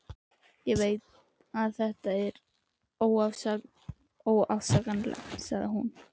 Ég veit að þetta er óafsakanlegt, sagði hún.